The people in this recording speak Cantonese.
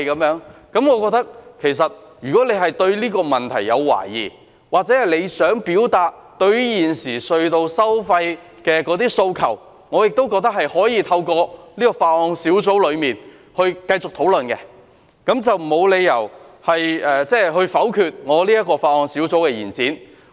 我覺得如果她對這個問題有懷疑，或她想表達對於現時隧道收費的訴求，我亦覺得可以透過法案委員會繼續進行討論，沒理由否決這項有關延展修訂期限的擬議決議案。